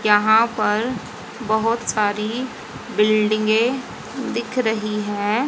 यहां पर बहोत सारी बिल्डिंगे दिख रही है।